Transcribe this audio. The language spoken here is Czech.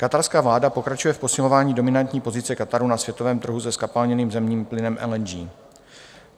Katarská vláda pokračuje v posilování dominantní pozice Kataru na světovém trhu se zkapalněným zemním plynem LNG.